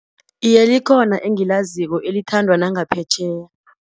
Iye, likhona engilaziko elithandwa nangaphetjheya.